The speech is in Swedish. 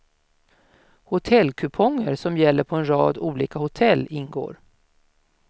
Hotellkuponger som gäller på en rad olika hotell ingår.